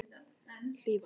Hlífar